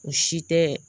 U si tɛ